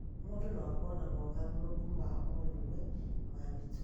mũndũ no akorwo na mogarũrũku ma o rĩmwe ma mĩtugo